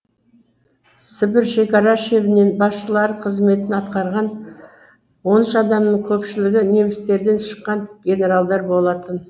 сібір шекара шебінін басшылары қызметін атқарған он үш адамның көпшілігі немістерден шыққан генералдар болатын